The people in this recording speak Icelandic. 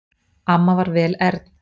Amma var vel ern.